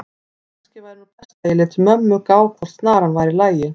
að kannski væri nú best að ég léti mömmu gá hvort snaran væri í lagi.